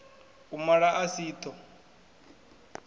u mala a si ṱho